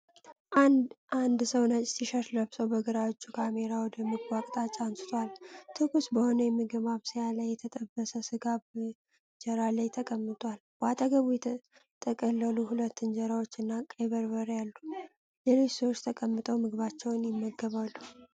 አንድ ሰው ነጭ ቲሸርት ለብሶ በግራ እጁ ካሜራ ወደ ምግቡ አቅጣጫ አንስቷል። ትኩስ በሆነ የምግብ ማብሰያ ላይ የተጠበሰ ስጋ በእንጀራ ላይ ተቀምጧል፣ በአጠገቡ የተጠቀለሉ ሁለት እንጀራዎች እና ቀይ በርበሬ አሉ። ሌሎች ሰዎች ተቀምጠው ምግባቸውን ይመገባሉ።